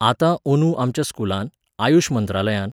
आतां अंदू आमच्या स्कुलांत, आयूश मंत्रालयान